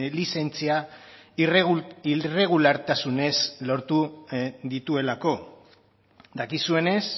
lizentzia irregulartasunez lortu dituelako dakizuenez